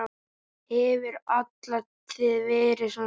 Hefur alla tíð verið svona.